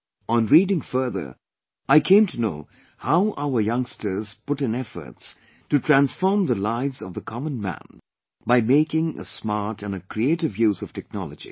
On reading further, I came to know how our youngsters put in efforts to transform the lives of the common man by making smart and creative use of technology